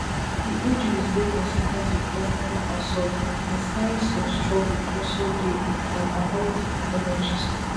di injuries dey consis ten t wit external assault and signs of struggle also dey um according to pathologists